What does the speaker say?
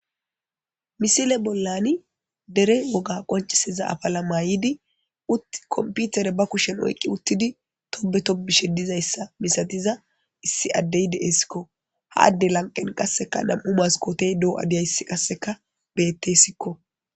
misile bollani dere woga qoncisiza afala mayidi utt komputere ba kushen oyqqi uttidi tobe tobishe dizayssa misatiza issi addey de7esikko haadde lanqen qasseka nam7u maskotey doo7adiyayssi qasseka bettessikko